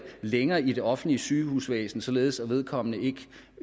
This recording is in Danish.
længere i det offentlige sygehusvæsen således at vedkommende